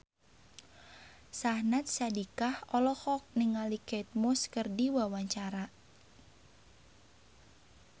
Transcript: Syahnaz Sadiqah olohok ningali Kate Moss keur diwawancara